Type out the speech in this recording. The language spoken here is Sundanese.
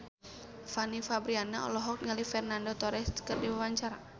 Fanny Fabriana olohok ningali Fernando Torres keur diwawancara